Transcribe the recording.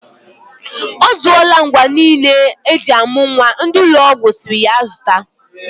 Ọzụọla ngwa niile eji amụ nwa ndị ụlọ ọgwụ sịrị ya zụta.